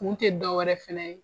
Kun tɛ dɔ wɛrɛ fɛnɛ ye.